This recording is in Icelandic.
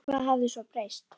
En hvað hafði svo breyst?